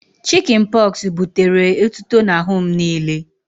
Chịkịn pọxụ butere etuto n'ahụ m niile